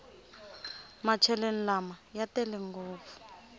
macheleni lama ya tele ngopfu